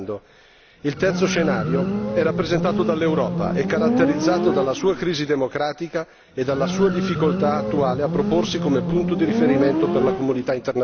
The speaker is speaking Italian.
Il terzo scenario è rappresentato dall'Europa e caratterizzato dalla sua crisi democratica e dalla sua difficoltà attuale di proporsi come punto di riferimento per la comunità internazionale.